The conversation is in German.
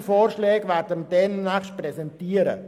Entsprechende Vorschläge werden wir demnächst präsentieren.